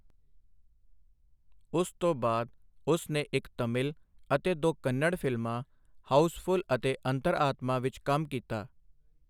ਉਸ ਤੋਂ ਬਾਅਦ ਉਸ ਨੇ ਇੱਕ ਤਮਿਲ ਅਤੇ ਦੋ ਕੰਨੜ ਫਿਲਮਾਂ ਹਾਊਸਫੁੱਲ ਅਤੇ ਅੰਤਰਆਤਮਾ ਵਿੱਚ ਕੰਮ ਕੀਤਾ।